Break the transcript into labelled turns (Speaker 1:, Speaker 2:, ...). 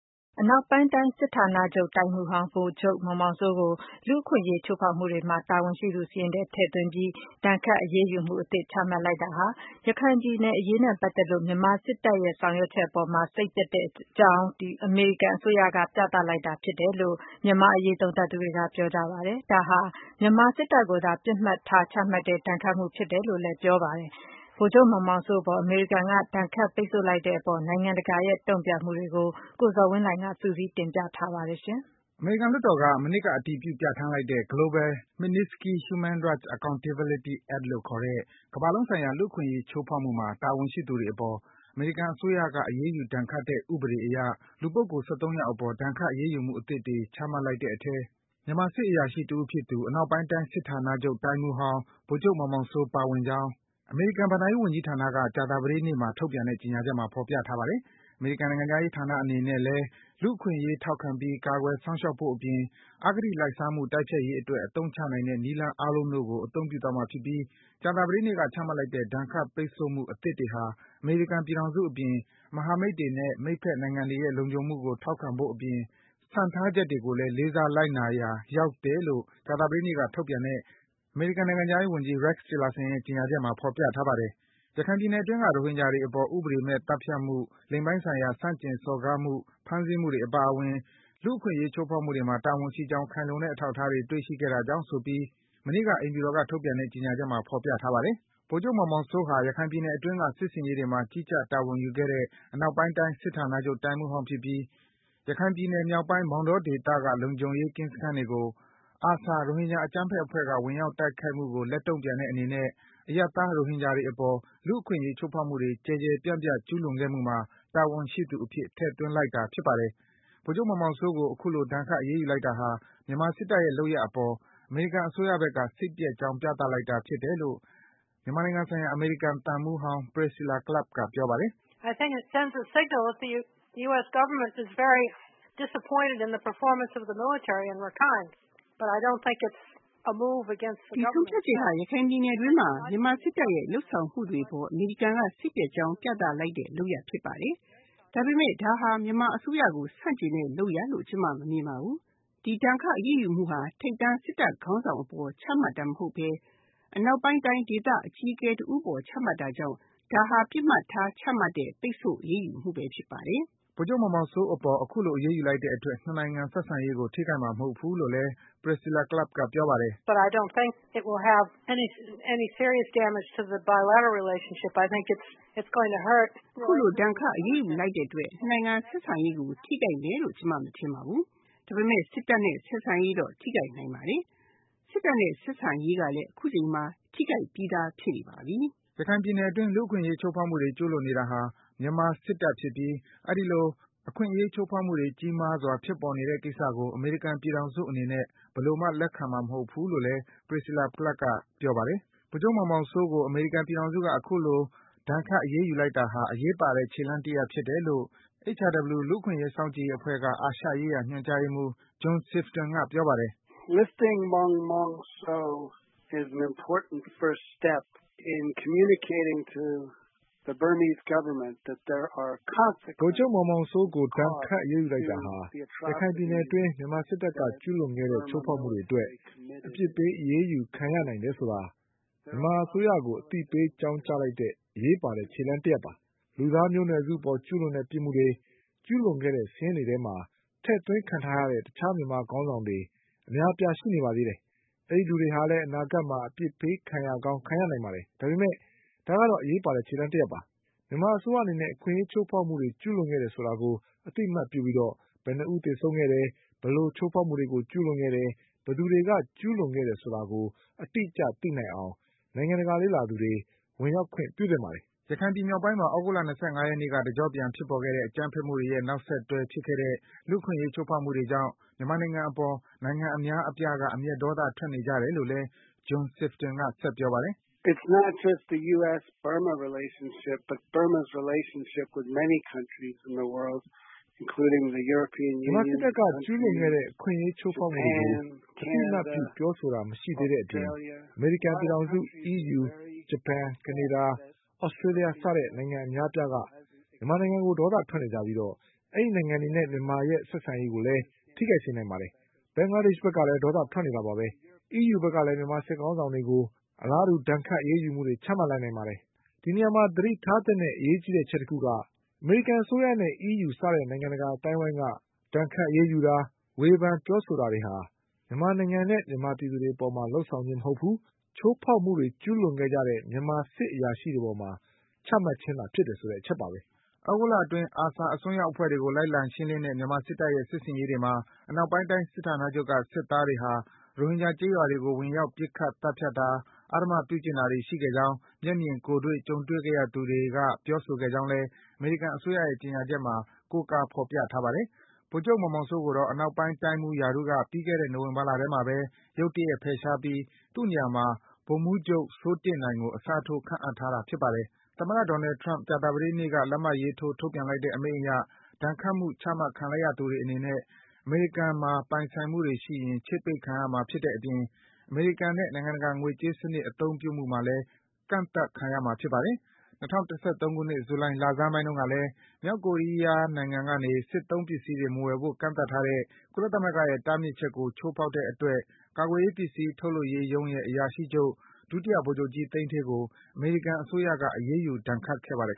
Speaker 1: အနောက်ပိုင်းတိုင်း စစ်ဌာနချုပ်တိုင်းမှူးဟောင်း ဗိုလ်ချုပ်မောင်မောင်စိုးကို လူ့အခွင့်အရေး ချိုးဖောက်မှုတွေမှာ တာဝန်ရှိသူစာရင်းထဲ ထည့်သွင်းပြီး ဒဏ်ခတ် အရေးယူမှုအသစ် ချမှတ်လိုက်တာဟာ ရခိုင်ပြည်အရေးနဲ့ပတ်သက်လို့ မြန်မာစစ်တပ်ရဲ့ လုပ်ဆောင်ချက် အပေါ် စိတ်ပျက်ကြောင်း အမေရိကန်အစိုးရက ပြသလိုက်တာ ဖြစ်တယ်လို့ မြန်မာ့အရေး သုံးသပ်သူတွေက ပြောပါတယ်။ ဒါဟာ မြန်မာ စစ်တပ်ကိုသာ ပြစ်မှတ်ထား ချမှတ်တဲ့ ဒဏ်ခတ်မှုဖြစ်တယ်လို့ သုံးသပ်ကြပါတယ်။ ဗိုလ်ချုပ်မောင်မောင်စိုးအပေါ် အမေရိကန်က ဒဏ်ခတ်ပိတ်ဆို့လိုက်တဲ့အပေါ် နိုင်ငံတကာရဲ့ တုန့်ပြန်မှုတွေကိုတော့ ကိုဇော်ဝင်းလှိုင်က စုစည်း တင်ပြပေးထားပါတယ်။ အမေရိကန် လွှတ်တော်က မနှစ်က အတည်ပြု ပြန်ဌာန်းလိုက်တဲ့ Global Magnitsky Human Rights Accountability Act လို့ခေါ်တဲ့ - ကမ္ဘာလုံးဆိုင်ရာ လူ့အခွင့်အရေး ချိုးဖောက်မှုမှာ တာဝန်ရှိသူတွေအပေါ် အမေရိကန်အစိုးရက အရေးယူဒဏ်ခတ်တဲ့ ဥပဒေအရ လူပုဂ္ဂိုလ် (၁၃) ယောက်အပေါ် ဒဏ်ခတ် အရေးယူမှု အသစ်တွေ ချမှတ်လိုက်တဲ့အထဲ မြန်မာစစ်အရာရှိ တဦးဖြစ်သူ အနောက်ပိုင်းတိုင်း စစ်ဌာနချုပ် တိုင်းမှူးဟောင်း ဗိုလ်ချုပ်မောင်မောင်စိုး ပါဝင်ကြောင်း အမေရိကန်ဘဏ္ဍာရေး ဝန်ကြီးဌာနက ကြာသတေးနေ့မှာ ထုတ်ပြန်တဲ့ ကြေညာချက်မှာ ဖော်ပြထားတာပါ။ အမေရိကန်နိုင်ငံခြားရေးဌာနအနေနဲ့ လူ့အခွင့်အရေး ထောက်ခံပြီး ကာကွယ်စောင့်ရှောက်ဖို့ အပြင် အကတိ လိုက်စားမှု တိုက်ဖျက်ရေးအတွက် အသုံးချနိုင်တဲ့ နည်းလမ်းအားလုံးတို့ကို အသုံးပြုသွားမှာဖြစ်ပြီး ကြာသပတေးနေ့က ချမှတ်လိုက်တဲ့ ဒဏ်ခတ် ပိတ်ဆို့မှု အသစ်တွေဟာ အမေရိကန်ပြည်ထောင်စုအပြင် မဟာမိတ်တွေနဲ့ မိတ်ဘက်နိုင်ငံတွေရဲ့ လုံခြုံမှုကို ထောက်ခံဖို့အပြင် စံထားချက်တွေကိုလည်း လေးစားလိုက်နာရာ ရောက်တယ်လို့ ကြာသပတေးနေ့က ထုတ်ပြန်တဲ့ အမေရိကန်နိုင်ငံခြားရေးဝန်ကြီး Rex Tillerson ရဲ့ ကြေညာချက်မှာ ဖော်ပြထားပါတယ်။ ရခိုင်ပြည်နယ်တွင်းက ရိုဟင်ဂျာတွေအပေါ် ဥပဒေမဲ့သတ်ဖြတ်မှု လိင်ပိုင်းဆိုင်ရာ အနိုင်ကျင့်စော်ကားမှု ဖမ်းဆီးမှုတွေအပါအဝင် လူ့အခွင့်အရေးချိုးဖောက်မှုတွေမှာ တာဝန်ရှိကြောင်း ခိုင်လုံတဲ့အထောက်အထားတွေ တွေ့ရှိခဲ့တာကြောင့်ဆိုပြီး မနေ့က အိမ်ဖြူတော်က ထုတ်ပြန်တဲ့ ကြေညာချက်မှာ ဖော်ပြထားပါတယ်။ ဗိုလ်ချုပ်မောင်မောင်စိုးဟာ ရခိုင်ပြည်နယ်အတွင်းက စစ်ဆင်ရေးတွေမှာ ကြီးကြပ် တာဝန်ယူခဲ့တဲ့ အနောက်ပိုင်းတိုင်း စစ်ဌာနချုပ် တိုင်းမှူးဟောင်းဖြစ်ပြီး ရခိုင်ပြည်နယ် မြောက်ပိုင်း မောင်တောဒေသက လုံခြုံရေးကင်းစခန်းတွေကို ARSA ရိုဟင်ဂျာ အကြမ်းဖက်အဖွဲ့က ဝင်ရောက်ခိုက်မှုကို လက်တုန့်ပြန်တဲ့အနေနဲ့ အရပ်သား ရိုဟင်ဂျာတွေအပေါ် လူ့အခွင့်အရေးချိုးဖောက်မှုတွေ ကျယ်ကျယ်ပြန့်ပြန့် ကျူးလွန်ခဲ့မှုမှာ တာဝန်ရှိသူအဖြစ် ထည့်သွင်းလိုက်တာပါ။ ဗိုလ်ချုပ်မောင်မောင်စိုးကို အခုလို ဒဏ်ခတ် အရေးယူလိုက်တာဟာ မြန်မာစစ်တပ်ရဲ့ လုပ်ရပ်အပေါ် အမေရိကန်အစိုးရဘက်က စိတ်ပျက်ကြောင်း ပြသလိုက်တာဖြစ်တယ်လို့ မြန်မာနိုင်ငံဆိုင်ရာ အမေရိကန်သံမှူးဟောင်း Priscilla Clapp က ပြောပါတယ်။
Speaker 2: “ဒီဆုံးဖြတ်ချက်ဟာ ရခိုင်ပြည်နယ်အတွင်းမှာ မြန်မာစစ်တပ်ရဲ့ လုပ်ဆောင်မှုတွေအပေါ် အမေရိကန်က စိတ်ပျက်ကြောင်း ပြသလိုက်တဲ့ လုပ်ရပ်ဖြစ်ပါတယ်။ ဒါပေမယ့် ဒါဟာ မြန်မာအစိုးရကို ဆန့်ကျင်တဲ့ လုပ်ရပ်လို့ ကျမ မမြင်ပါဘူး။ ဒီ ဒဏ်ခတ် အရေးယူမှုဟာ ထိပ်တန်း စစ်တပ်ခေါင်းဆောင်
Speaker 1: အပေါ် ချမှတ်တာမဟုတ်ဘဲ အနောက်ပိုင်းတိုင်းဒေသ အကြီးအကဲ တဦးအပေါ် ချမှတ်တာကြောင့် ဒါဟာ ပစ်မှတ်ထား ချမှတ်တဲ့ ဒဏ်ခတ် အရေးယူမှု ဖြစ်ပါတယ်။” ဗိုလ်ချုပ်မောင်မောင်စိုးအပေါ် အခုလို အရေးလိုက်တဲ့အတွက် နှစ်နိုင်ငံ ဆက်ဆံရေးကို ထိခိုက်မှာမဟုတ်ဘူးလို့လည်း Priscilla Clapp က ပြောပါတယ်။ “အခ
Speaker 2: ုလို ပိတ်ဆို့အရေးယူလိုက်တဲ့အတွက် နှစ်နိုင်ငံ ဆက်ဆံရေးကို ထိခိုက်မယ်လို့ ကျမ မထင်ပါဘူး။ ဒါပေမယ့် စစ်တပ်နဲ့ ဆက်ဆံရေးတော့ ထိခိုက်နိုင်ပါတယ်။ စစ
Speaker 1: ်တပ်နဲ့ ဆက်ဆံရေးကလည်း အခုချိန်မှာ ထိခိုက်ပြီးသား ဖြစ်နေပါပြီ။” ရခိုင်ပြည်နယ်အတွင်း လူ့အခွင့်အရေး ချိုးဖောက်မှုတွေ ကျူးလွန်နေတာဟာ မြန်မာစစ်တပ်ဖြစ်ပြီး အဲဒီလို အခွင့်အရေး ချိုးဖောက်မှုတွေ ကြီးမားစွာ ဖြစ်ပေါ်နေတဲ့ကိစ္စကို အမေရိကန်ပြည်ထောင်စုအနေနဲ့ ဘယ်လိုမှ လက်ခံမှာမဟုတ်ဘူးလို့လည်း Priscilla Clapp က ပြောပါတယ်။ ဗိုလ်ချုပ်မောင်မောင်စိုးကို အမေရိကန်ပြည်ထောင်စုက အခုလို ဒဏ်ခတ် အရေးယူ လိုက်တာဟာ အရေးပါတဲ့ ခြေလှမ်းတရပ်ဖြစ်တယ်လို့ HRW လူ့အခွင့်အရေးစောင့်ကြည့်ရေး အဖွဲ့က အာရှရေးရာ ညွန်ကြားရေးမှူး John Sifton က ပြောပါတယ်။
Speaker 2: “ဗိုလ်ချုပ်မောင်မောင်စိုးအပေါ် ဒဏ်ခတ် အရေးယူလိုက်တာဟာ ရခိုင်ပြည်နယ်အတွင်း မြန်မာစစ်တပ်က ကျူးလွန်ခဲ့တဲ့ ချိုးဖောက်မှုတွေအတွက် အပြစ်ပေး အရေးယူခံရနိုင်တယ်ဆိုတာ မြန်မာအစိုးရကို အသိအပေး အကြောင်းကြားလိုက်တဲ့ အရေးပါတဲ့ ခြေလှမ်းတရပ်ဖြစ်ပါတယ်။ လူသားမျိုးနွယ်စုအပေါ် ကျူးလွန်တဲ့ ပြစ်မှုတွေ ကျူးလွန်ခဲ့တဲ့ စာရင်းထဲမှာ ထည့်သွင်းခံထားရတဲ့ တခြား မြန်မာစစ်ခေါင်းဆောင်တွေ အများအပြား ရှိနေပါသေးတယ်။ အဲဒီလူတွေဟာလည်း အနာဂတ်မှာ အပြစ်ပေးခံရကောင်း ခံရနိုင်ပါတယ်။ ဒါပေမယ့် ဒါကတော့ အရေးပါတဲ့ ခြေလှမ်းတရပ်ဖြစ်ပါတယ်။ မြန်မာအစိုးရအနေနဲ့ အခွင့်အရေး ချိုးဖောက်မှုတွေ ကျူးလွန်ခဲ့တယ်ဆိုတာကို အသိအမှတ်ပြုပြီး ဘယ်နှစ်ဦး သေဆုံးခဲ့တယ်၊ ဘယ်လို ချိုးဖောက်မှုတွေ ကျူးလွန်ခဲ့တယ်၊ ဘယ်သူတွေက ကျူးလွန်ခဲ့တယ်ဆိုတာကို အတိအကျ သိနိုင်အောင် နိုင်ငံတကာ လေ့လာသူတွေ ဝင်ရောက်ခွင့်ပြုသင့်ပါတယ်။
Speaker 1: ” ရခိုင်ပြည်နယ်မြောက်ပိုင်းမှာ သြဂုတ်လ ၂၅ ရက်နေ့က တကျော့ပြန် ဖြစ်ပေါ်ခဲ့တဲ့ အကြမ်းဖက်မှုတွေရဲ့ နောက်ဆက်တွဲ ဖြစ်ခဲ့တဲ့ လူ့အခွင့်အရေး ချိုးဖောက်မှုတွေကြောင့် မြန်မာနိုင်ငံအပေါ် နိုင်ငံအများအပြားက အမျက်ဒေါသ ထွက်နေကြတယ်လို့လည်း John Sifton က ပြောပါတယ်။
Speaker 2: “မြန်မာစစ်တပ်က ကျူးလွန်ခဲ့တဲ့ အခွင့်အရေးချိုးဖောက်မှုတွေကို အသိအမှတ်ပြု ပြောဆိုခြင်း မရှိတဲ့အပေး အမေရိကန်ပြည်ထောင်စု၊ အီးယူ၊ ဂျပန်၊ ကနေဒါ၊ သြစတေးလျ စတဲ့ နိုင်ငံအများအပြားက မြန်မာနိုင်ငံအပေါ် ဒေါသထွက်နေကြပြီး အဲဒီနိုင်ငံတွေနဲ့ မြန်မာနိုင်ငံရဲ့ ဆက်ဆံရေးကိုလည်း ထိခိုက်စေနိုင်ပါတယ်။ ဘင်္ဂလားဒေ့ရှ်ဘက်က ဒေါသထွက်နေတာပါဘဲ။ အီးယူ ဘက်ကလည်း မြန်မာစစ်ခေါင်းဆောင်တွေအပေါ် အလားတူ ဒဏ်ခတ် အရေးယူမှုတွေ ချမှတ်လာနိုင်ပါတယ်။ ဒီနေရာမှာ သတိထားသင့်တဲ့ အရေးကြီးတဲ့အချက်တခုက အမေရိကန်အစိုးရနဲ့ အီးယူ စတဲ့ နိုင်ငံတကာ အသိုင်းဝိုင်းက ဒဏ်ခတ် ပိတ်ဆို့တာ၊ ဝေဖန် ပြောဆိုတာတွေဟာ မြန်မာနိုင်ငံနဲ့ မြန်မာပြည်သူတွေ အပေါ် လုပ်ဆောင်ခြင်းမဟုတ်ဘူး၊ ချိုးဖောက်မှုတွေ ကျူးလွန်ခဲ့ကြတဲ့ မြန်မာစစ်အရာရှိတွေ အပေါ်
Speaker 1: ချမှတ်ခြင်းဖြစ်တယ်ဆိုတဲ့ အချက်ပါဘဲ။” သြဂုတ်လအတွင်း ARSA အစွန်းရောက်အဖွဲ့တွေကို လိုက်လံရှင်းလင်းတဲ့ မြန်မာစစ်တပ်ရဲ့ စစ်ဆင်ရေးတွေမှာ အနောက်ပိုင်းတိုင်း စစ်ဌာနချုပ်က စစ်သားတွေဟာ ရိုဟင်ဂျာကျေးရွာတွေကို ဝင်ရောက်ပြီး ပစ်ခတ်သတ်ဖြတ်တာ အဓမ္မပြုကျင့်တာတွေ ရှိခဲ့ကြောင်း မျက်မြင်ကိုယ်တွေ့ ကြုံတွေ့ခဲ့ရသူတွေက ပြောဆိုခဲ့ကြောင်းလည်း အမေရိကန် အစိုးရရဲ့ ကြေညာချက်မှာ ကိုးကားဖော်ပြထားပါတယ်။ ဗိုလ်ချုပ်မောင်မောင်စိုးကိုတော့ အနောက်ပိုင်းတိုင်းမှူးရာထူးက ပြီးခဲ့တဲ့ နိုဝင်ဘာလထဲမှာပဲ ရုတ်တရက် ဖယ်ရှားပြီး သူ့နေရာမှာ ဗိုလ်မှူးချုပ်စိုးတင့်နိုင်ကို အစားထိုး ခန့်အပ်ထားတာ ဖြစ်ပါတယ်။ သမ္မတ Donald Trump ကြာသပတေးနေ့က လက်မှတ်ရေးထိုး ထုတ်ပြန်လိုက်တဲ့ အမိန့်အရ ဒဏ်ခတ်မှု ချမှတ်ခံလိုက်ရသူတွေအနေနဲ့ အမေရိကန်မှာ ပိုင်ဆိုင်မှုတွေရှိရင် ချိတ်ပိတ်ခံရမှာ ဖြစ်တဲ့အပြင် အမေရိကန်နဲ့ နိုင်ငံတကာ ငွေကြေးစံနစ် အသုံးပြုမှု မှာလည်း ကန့်သတ်ခံရမှာ ဖြစ်ပါတယ်။ ၂၀၁၃ ခုနှစ်၊ ဇူလိုင် လဆန်းပိုင်းကတုန်းကလည်း - မြောက်ကိုရီးယား နိုင်ငံကနေ စစ်သုံးပစ္စည်းတွေ မဝယ်ယူဖို့ ကန့်သတ်ထားတဲ့ ကုလသမဂ္ဂရဲ့ တားဖြစ်ချက်ကို ချိုးဖောက်တဲ့အတွက် ကာကွယ်ရေး ပစ္စည်းထုတ်လုပ်ရေးရုံးရဲ့ အရာရှိချုပ် ဒုတိယဗိုလ်ချုပ်ကြီး သိန်းဌေးကို အမေရိကန်အစိုးရက အရေးယူဒဏ်ခတ်ခဲ့ပါတယ်